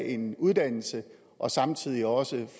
en uddannelse og samtidig også